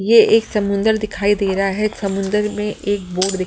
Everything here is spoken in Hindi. ये एक समुंद्र दिखाई दे रहा है समुंद्र में एक बोट --